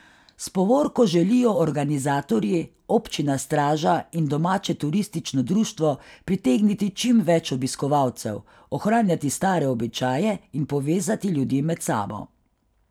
S povorko želijo organizatorji, občina Straža in domače turistično društvo pritegniti čim več obiskovalcev, ohranjati stare običaje in povezati ljudi med sabo.